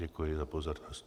Děkuji za pozornost.